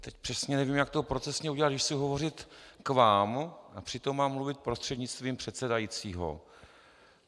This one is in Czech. Teď přesně nevím, jak to procesně udělat, když chci hovořit k vám a přitom mám mluvit prostřednictvím předsedajícího.